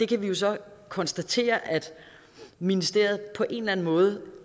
kan så konstatere at ministeriet på en eller anden måde